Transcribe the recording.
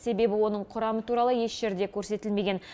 себебі оның құрамы туралы еш жерде көрсетілмеген